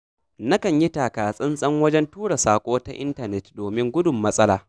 Nakan yi takatsantsan wajen tura saƙo ta intanet domin gudun matsala.